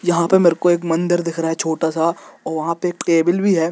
यहाँ पे मेरे को एक मंदिर दिख रहा हे छोटा सा और वह पे एक टेबल भी है।